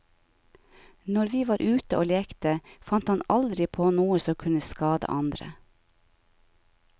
Når vi var ute og lekte, fant han aldri på noe som kunne skade andre.